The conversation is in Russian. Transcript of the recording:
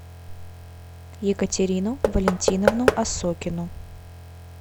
екатерину валентиновну осокину